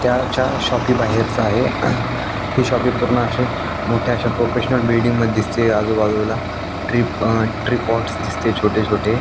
त्याच्या शाॅपी बाहेरचा आहे ही शाॅपी पूर्ण अशी मोठ्या अशा प्रोफेशनल बिल्डिंग मध्ये दिसतेय आजूबाजूला टी ट्री पॉट्स दिसते छोटे छोटे --